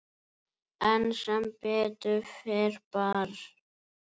En sem betur fer bar